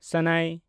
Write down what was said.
ᱥᱟᱱᱟᱭ